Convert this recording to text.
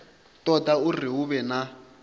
toda uri hu vhe na